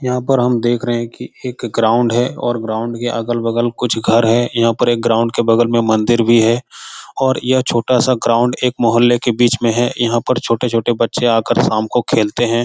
यहाँ पर हम देख रहे हैं की एक ग्राउंड है और ग्राउंड के अगल-बगल कुछ घर हैं यहाँ पर एक ग्राउंड के बगल में मंदिर भी है और यह छोटा-सा ग्राउंड एक मोहल्ले के बीच में है यहाँ पर छोटे-छोटे बच्चे आ कर शाम को खेलते हैं ।